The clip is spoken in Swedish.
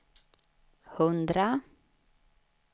hundra